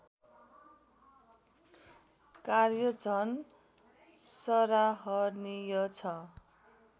कार्य झन् सराहनीय छ